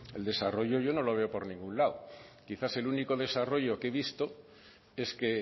el desarrollo yo no lo veo por ningún lado quizás el único desarrollo que he visto es que